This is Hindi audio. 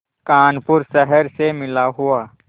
कानपुर शहर से मिला हुआ